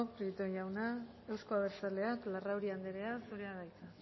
prieto jauna euzko abertzaleak larrauri anderea zurea da hitza